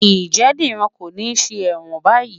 Ǹjẹ́ Dìran kò ní ṣe ẹ̀wọ̀n báyìí?